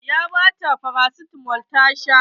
Ya bata farasitamo ta sha.